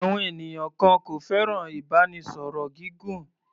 Àwọn ènìyàn kan kò fẹ́ràn ìbánisọ̀rọ̀ gígùn.